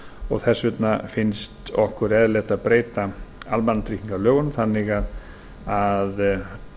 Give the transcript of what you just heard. og þess vegna finnst okkur eðlilegt að breyta almannatryggingalögunum þannig að